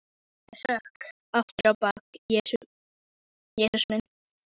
Ég hrökk aftur á bak: Jesús minn!